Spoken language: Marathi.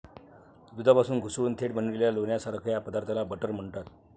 दुधापासून घुसळून थेट बनविलेल्या लोण्यासारख्या पदार्थाला बटर म्हणतात.